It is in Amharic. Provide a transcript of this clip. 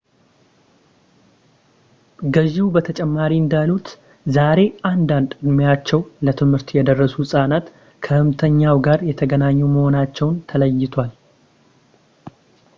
ገዢው በተጨማሪ እንዳሉት ዛሬ አንዳንድ ዕድሜያቸው ለትምህርት የደረሱ ሕፃናት ከሕመምተኛው ጋር የተገናኙ መሆናቸው ተለይቷል